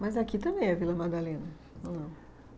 Mas aqui também é Vila Madalena, ou não?